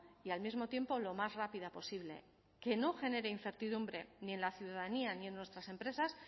y al mismo tiempo lo más rápida posible que no genere incertidumbre ni en la ciudadanía ni en nuestras empresas